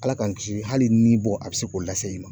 Ala k'an kisi hali ni bɔ a bi se k'o lase i ma.